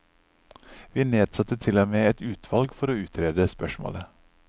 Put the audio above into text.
Vi nedsatte til og med et utvalg for å utrede spørsmålet.